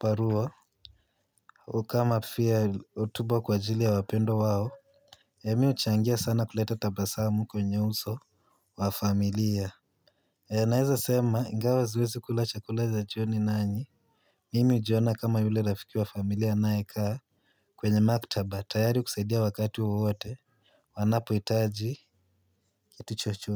barua. Kama pia hotubo kwa ajili ya wapendwa wao mimi huchangia sana kuleta tabasamu kwenye uso wa familia. Naeza sema ingawa siwezi kula chakula cha jioni nanyi. Mimi hujiona kama yule rafiki wa familia anaye kaa kwenye maktaba tayari kusaidia wakati wowote wanapo hitaji kitu chochote.